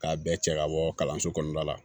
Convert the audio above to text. K'a bɛɛ cɛ ka bɔ kalanso kɔnɔna la